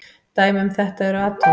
Dæmi um þetta eru atóm.